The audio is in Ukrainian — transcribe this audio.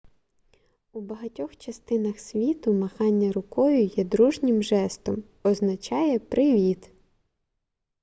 у багатьох частинах світу махання рукою є дружнім жестом означає привіт